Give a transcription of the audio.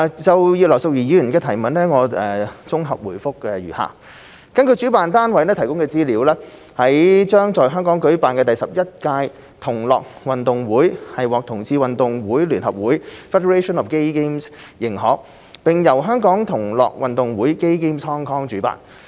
就葉劉淑儀議員的質詢，我現綜合答覆如下﹕根據主辦單位提供的資料，將在香港舉辦的第十一屆同樂運動會獲同志運動會聯合會認可，並由香港同樂運動會主辦。